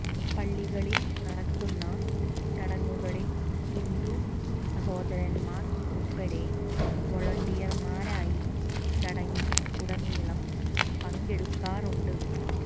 പള്ളികളിൽ നടക്കുന്ന ചടങ്ങുകളിൽ ഹിന്ദു സഹോദരന്മാർ ഉൾപ്പടെ വോളണ്ടിയർമാരായി ചടങ്ങിൽ ഉടനീളം പങ്കെടുക്കാറുണ്ട്